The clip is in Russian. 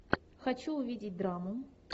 хочу увидеть драму